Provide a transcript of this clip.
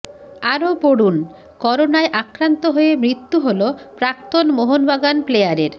আরও পড়ুনঃকরোনায় আক্রান্ত হয়ে মৃত্যু হল প্রাক্তন মোহনবাগান প্লেয়ারের